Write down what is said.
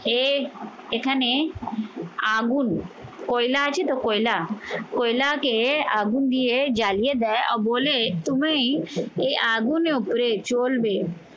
এ এখানে আগুন কয়লা আছে তো কয়লা? কয়লাকে আগুন দিয়ে জ্বালিয়ে দেয় বলে তুমি এই আগুনের উপরে চলবে